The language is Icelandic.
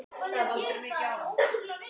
Og út.